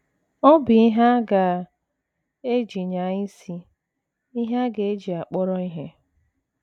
Ọ bụ ihe a ga - eji nyaa isi, ihe a ga - eji akpọrọ ihe.